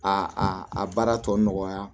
A a baara tɔ nɔgɔya